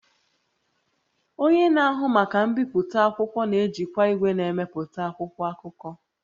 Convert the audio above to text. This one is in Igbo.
Onye na-ahụ maka mbipụta akwụkwọ na-ejikwa igwe na-emepụta akwụkwọ akụkọ